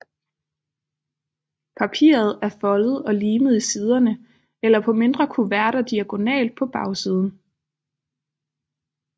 Papiret er foldet og limet i siderne eller på mindre kuverter diagonalt på bagsiden